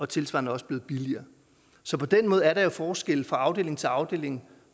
tilsvarende også blevet billigere så på den måde er der jo forskelle fra afdeling til afdeling